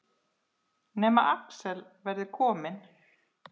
Nema Axel verði kominn.